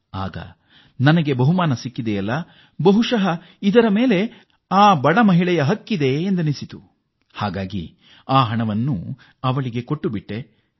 ಆಗ ಸಂತೋಷ್ ಅವರಿಗೆ ಈ ಹಣದ ಮೇಲೆ ತಮಗಿಂತ ಹೆಚ್ಚಾಗಿ ಆಕೆಗೆ ಹೆಚ್ಚು ಹಕ್ಕಿದೆ ಎನಿಸಿ ಆ ಸಾವಿರ ರೂಪಾಯಿಯನ್ನು ಆಕೆಗೆ ನೀಡಿದರಂತೆ